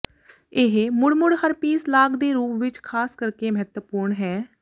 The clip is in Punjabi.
ਇਹ ਮੁੜ ਮੁੜ ਹਰਪੀਸ ਲਾਗ ਦੇ ਰੂਪ ਵਿੱਚ ਖਾਸ ਕਰਕੇ ਮਹੱਤਵਪੂਰਨ ਹੈ